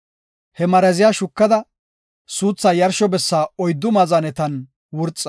He maraziya shukada, suuthaa yarsho bessan oyddu maazanetan wurxa.